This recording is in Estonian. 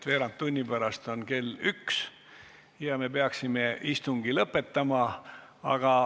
Veerand tunni pärast on kell üks ja me peaksime siis istungi lõpetama.